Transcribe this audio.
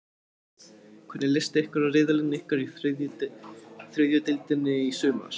Hvernig list ykkur á riðilinn ykkar í þriðju deildinni í sumar?